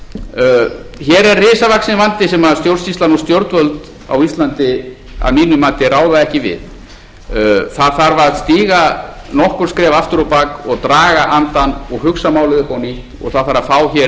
og stjórnvöld á íslandi að mínu mati ráða ekki við það þarf að stíga nokkur skref aftur á bak og draga andann og hugsa málið upp á nýtt og það þarf að fá hér inn fleiri